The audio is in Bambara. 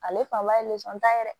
Ale fan ba ye ta ye dɛ